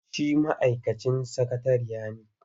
Shi ma'aikacin sakatariya ne.